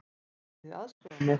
Getið þið aðstoðað mig?